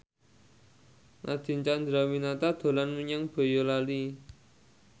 Nadine Chandrawinata dolan menyang Boyolali